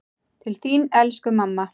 Til þín elsku mamma.